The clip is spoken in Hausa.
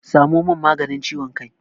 Samo min maganin ciwon kai!